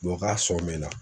k'a sɔn me na